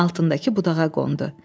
Altındakı budağa qondu.